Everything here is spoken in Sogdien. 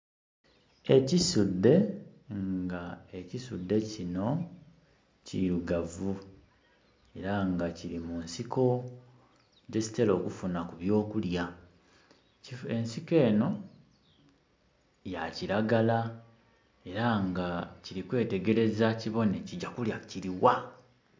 Ekisudhe nga ekisudhe kino kirugavu era nga kili munsiko dhekitera okufuna ku by'okulya. Ensiko eno ya kiragala era nga kiri kwetegereza kibone kija kulya kiligha